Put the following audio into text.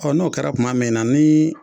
Ɔ n'o kɛra kuma min na ni